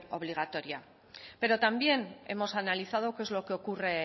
obligatoria pero también hemos analizado qué es lo que ocurre